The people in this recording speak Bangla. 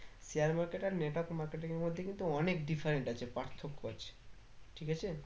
share market আর network marketing এর মধ্যে কিন্তু অনেক different আছে পার্থক্য আছে ঠিক আছে?